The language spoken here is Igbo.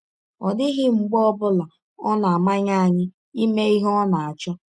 Ọ dịghị mgbe ọ bụla ọ na - amanye anyị ime ihe ọ na - achọ.